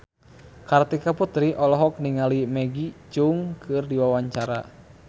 Kartika Putri olohok ningali Maggie Cheung keur diwawancara